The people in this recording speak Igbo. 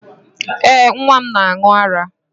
Ee, nwa m na-aṅụ ara.